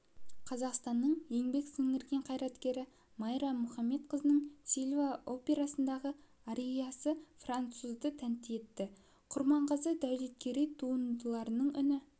қазақстанның еңбек сіңірген қайраткері майра мұхамедқызының сильва операсындағы ариясы француздарды тәнті етті құрманғазы дәулеткерей туындыларының үні